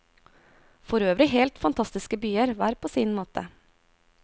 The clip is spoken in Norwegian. Forøvrig helt fantastiske byer, hver på sin måte.